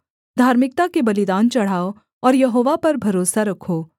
धार्मिकता के बलिदान चढ़ाओ और यहोवा पर भरोसा रखो